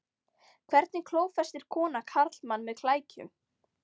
Hvernig klófestir kona karlmann með klækjum?